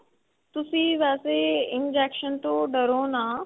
ਤੁਸੀਂ ਵੈਸੇ injection ਤੋਂ ਡਰੋ ਨਾ